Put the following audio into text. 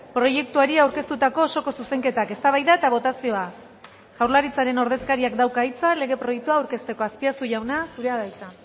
proiektuari aurkeztutako osoko zuzenketak eztabaida eta botazioa jaurlaritzaren ordezkariak dauka hitza lege proiektua aurkezteko azpiazu jauna zurea da hitza